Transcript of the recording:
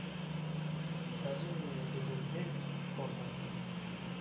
покажи мне эпизод девять готэм